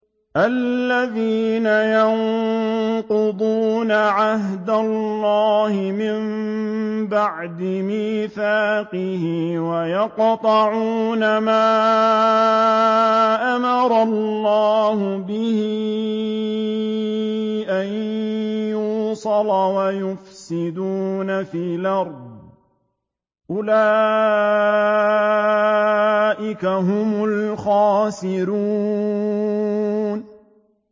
الَّذِينَ يَنقُضُونَ عَهْدَ اللَّهِ مِن بَعْدِ مِيثَاقِهِ وَيَقْطَعُونَ مَا أَمَرَ اللَّهُ بِهِ أَن يُوصَلَ وَيُفْسِدُونَ فِي الْأَرْضِ ۚ أُولَٰئِكَ هُمُ الْخَاسِرُونَ